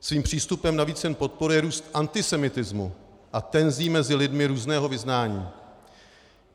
Svým přístupem navíc jen podporuje růst antisemitismu a tenzí mezi lidmi různého vyznání.